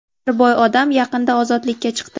Bir boy odam, yaqinda ozodlikka chiqdi.